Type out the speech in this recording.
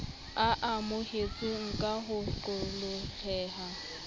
o amohetsweng ka ho qoholleha